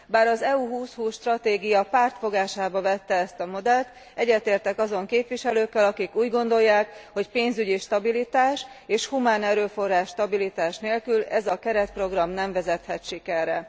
Bár az EU 2020 stratégia pártfogásába vette ezt a modellt, egyetértek azon képviselőkkel, akik úgy gondolják, hogy pénzügyi stabilitás és humánerőforrás stabilitás nélkül ez a keretprogram nem vezethet sikerre.